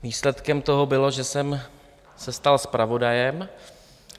Výsledkem toho bylo, že jsem se stal zpravodajem.